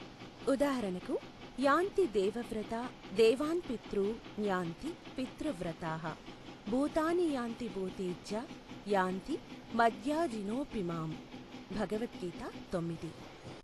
ఉదాహరణకు యాంతి దేవవ్రతా దేవాన్పితౄ న్యాన్తి పితృవ్రతాః భూతాని యాన్తి భూతేజ్య యాన్తి మద్యాజినోపిమాం భగవత్ గీత తొమ్మిది.